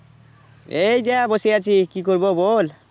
এই যে বসে আছি কি করবো বল?